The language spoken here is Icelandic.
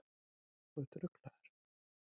Þú ert ruglaður.